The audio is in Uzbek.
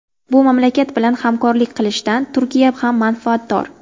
Bu mamlakat bilan hamkorlik qilishdan Turkiya ham manfaatdor.